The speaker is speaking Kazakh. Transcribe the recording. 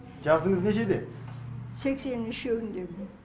жасыңыз нешеде сексеннің үшеуіндемін